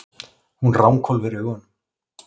Hún ranghvolfir augunum.